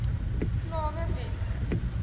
slawe weskus